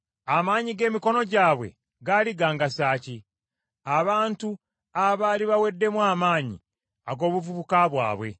Amaanyi g’emikono gyabwe gaali gangasa ki? Abantu abaali baweddemu amaanyi ag’obuvubuka bwabwe,